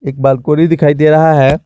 Balcony दिखाई दे रहा है।